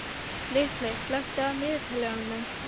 Ripley, slökktu á niðurteljaranum.